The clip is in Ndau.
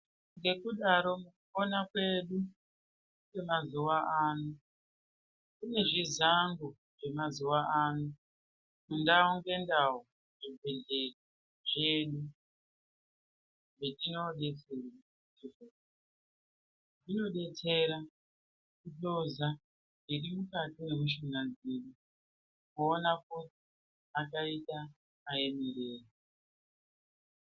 Ngekudaro mukupona kwedu kwemazuva ano kune zvizango zvemazuva ano ndau ngendau zvibhedhleya zvedu. Zvetinobetsera zvinobetsera kuhloza zviri mukati memishuna dzedu kuona kuti akaita ainirei.